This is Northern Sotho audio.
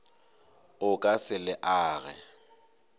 o ka se le age